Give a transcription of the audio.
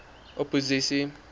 opposisie